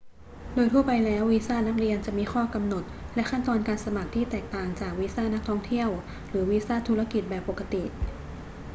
โดยทั่วไปแล้ว วีซ่านักเรียนจะมีข้อกำหนดและขั้นตอนการสมัครที่แตกต่างจากวีซ่านักท่องเที่ยวหรือวีซ่าธุรกิจแบบปกติ